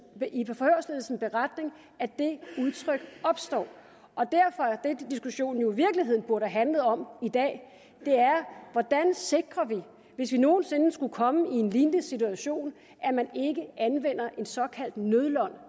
beretning at det udtryk opstår derfor er det diskussionen jo i virkeligheden burde have handlet om i dag hvordan vi sikrer hvis vi nogen sinde skulle komme i en lignende situation at man ikke anvender en såkaldt nødløgn